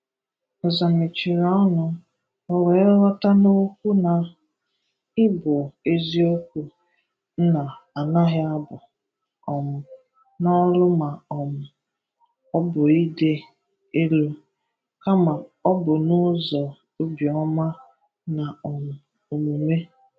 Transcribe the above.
Nza mechìrì ọ̀nù, o wee ghọta n’okwu na ị bụ eziokwu nna anaghi abụ um na olu ma um ọ bụ ìdì elu, kama ọ bụ n’ụ̀zọ obi ọma na um omume.